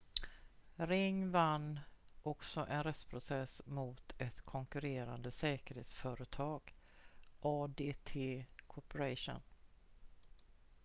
ring vann också en rättsprocess mot ett konkurrerande säkerhetsföretag adt corporation